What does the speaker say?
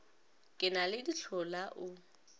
ke na le dihlola o